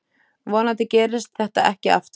Vonandi gerist þetta ekki aftur.